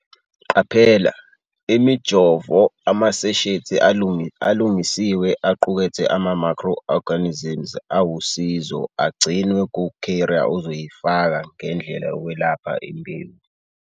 Qaphela - Imijovo amaseshethi alungisiwe aqukethe ama-microorganisms awusizo agcinwe ku-ca5rrier ozoyifaka ngendlela yokwelapha imbewu.